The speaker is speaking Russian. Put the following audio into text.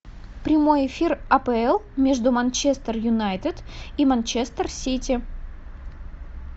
прямой эфир апл между манчестер юнайтед и манчестер сити